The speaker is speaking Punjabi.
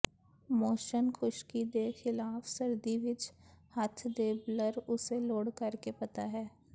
ਮੋਸ਼ਨ ਖੁਸ਼ਕੀ ਦੇ ਖਿਲਾਫ ਸਰਦੀ ਵਿੱਚ ਹੱਥ ਦੇ ਬਲਰ ਉਸੇ ਲੋੜ ਕਰਕੇ ਪਤਾ ਹੈ